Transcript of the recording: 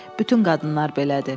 Bütün qadınlar belədir.